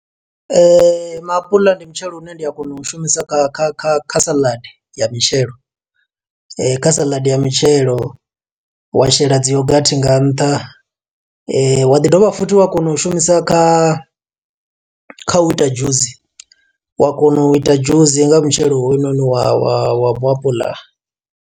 Maapuḽa ndi mutshelo une ndi a kona u shumisa kha kha kha kha saḽadi ya mitshelo. Kha saḽadi ya mitshelo wa shela dzi yogathi nga nṱha, wa ḓi dovha futhi wa kona u shumisa kha kha u ita dzhusi. Wa kona u ita dzhusi nga mutshelo hoyunoni wa wa wa muapuḽa.